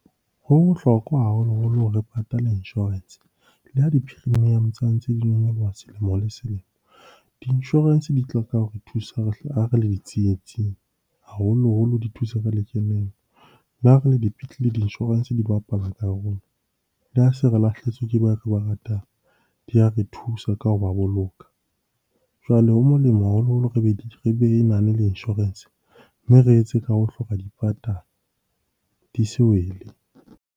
Ho bohlokwa haholoholo re patala insurance, le ha di-premium-o sa ntse di nyoloha selemo le selemo. Di insurance di ho re thusa re le di tsietsing, haholoholo di thusa ka . Le ha re le dipetlele di-nsurance di bapala karolo. Le ha se re lahlehetswe ke ba re ba ratang, di ya re thusa ka hoba boloka. Jwale ho molemo haholoholo re be re na le insurance mme re etse ka hohle ho ka di patala, di se wele.